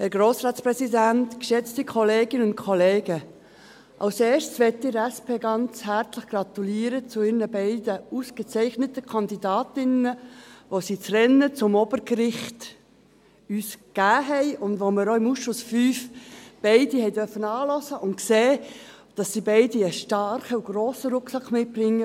Als Erstes möchte ich der SP ganz herzlich zu ihren beiden ausgezeichneten Kandidatinnen gratulieren, die sie uns ins Rennen zum Obergericht gegeben haben und die wir im Ausschuss V auch beide anhören durften, und gesehen haben, dass sie beide einen starken und grossen Rucksack mitbringen.